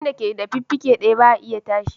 Jirgin da ke da fiffike daya ba ya iya tashi.